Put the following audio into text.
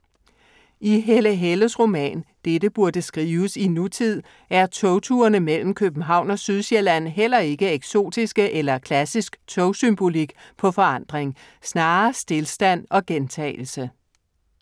I Helle Helles roman Dette burde skrives i nutid er togturene mellem København og Sydsjælland heller ikke eksotiske eller klassisk togsymbolik på forandring. Snarere stilstand og gentagelse.